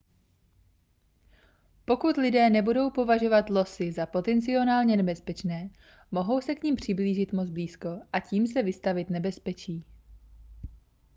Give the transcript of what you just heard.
pokud lidé nebudou považovat losy za potenciálně nebezpečné mohou se k nim přiblížit moc blízko a tím se vystavit nebezpečí